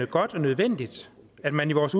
godt og nødvendigt at man i vores